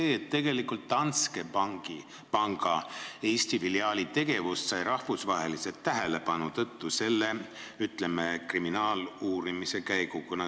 Võib öelda, et tegelikult sai Danske panga Eesti filiaali tegevus rahvusvahelise tähelepanu osaliseks algatatud kriminaaluurimise tõttu.